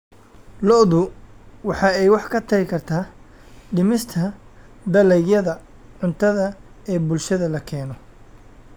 Lo�du waxa ay wax ka tari kartaa dhimista dalagyada cuntada ee bulshada la keeno.